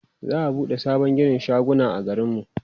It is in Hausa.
za'a buɗe sabon ginin shaguna a garin mu